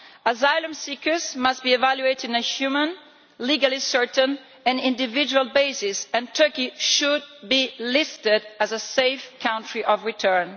Asylum seekers must be evaluated on a human, legally certain and individual basis and Turkey should be listed as a safe country of return.